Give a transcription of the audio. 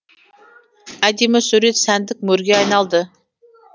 әдемі сурет сәндік мөрге айналды